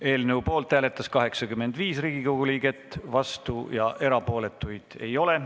Hääletustulemused Poolt hääletas 85 Riigikogu liiget, vastuolijaid ja erapooletuid ei ole.